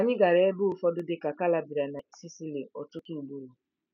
Anyị gara ebe ụfọdụ dị ka Calabria na Sicily ọtụtụ ugboro.